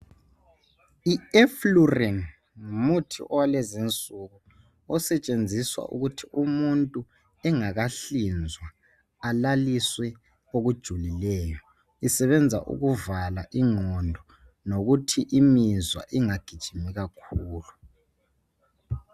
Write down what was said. I Eflurane ngumuthi walezinsuku osetshenziswa ukuthi umuntu engakahlinzwa alaliswe okujulileyo besenza ukuvala ingqondo nokuthi imizwa ingagijimi kakhulu.